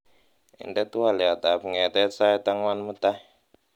inde twolyot ab ng'etet sait ang'wan mutai